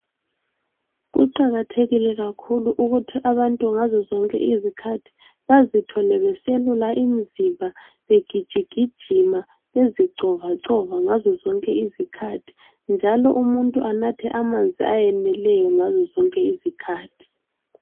Kuqakathekile kakhulu ukuthi abantu ngazozonke izikhathi bazithole beselula imizimba begijigijima bezicovacova ngazo zonke izikhathi, njalo umuntu anathe amanzi ayeneleyo ngazo zonke izikhathi